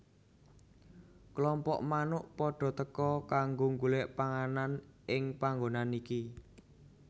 Klompok manuk padha teka kanggo golek panganan ing panggonan iki